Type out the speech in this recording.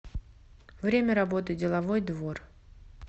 время работы деловой двор